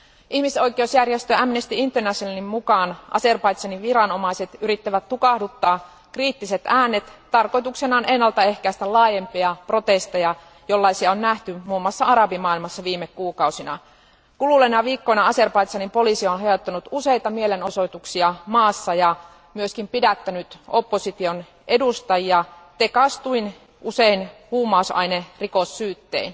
Ihmisoikeusjärjestö Amnesty Internationalin mukaan Azerbaidžanin viranomaiset yrittävät tukahduttaa kriittiset äänet tarkoituksenaan ennaltaehkäistä laajempia protesteja, jollaisia on nähty muun muassa arabimaailmassa viime kuukausina. Kuluneina viikkoina Azerbaidžanin poliisi on hajottanut useita mielenosoituksia maassa ja myös pidättänyt opposition edustajia tekaistuin, usein huumausainerikossyyttein.